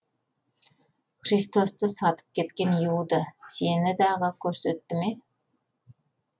христосты сатып кеткен иуда сені дағы көрсетті ме